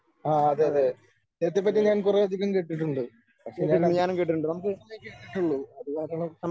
ആ അതെ അതെ ഛേത്രിയെ പറ്റി ഞാൻ കുറെയധികം കേട്ടിട്ടുണ്ട് പക്ഷേ ഞാൻ അദ്ദേ കേട്ടിട്ടുള്ളൂ അതുകാരണം